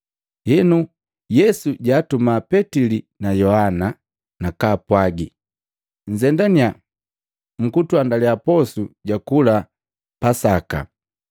Henu Yesu jaatuma Petili na Yohana, nakaapwagi, “Nnzendaninya mkutuandaliya posu ja kula Pasaka.”